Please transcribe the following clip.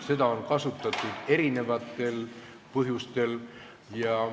Seda on kasutatud erinevatel põhjustel.